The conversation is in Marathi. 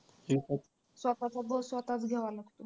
स्वतःचा bow स्वतःच घ्यावा लागतो.